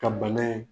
Ka bana ye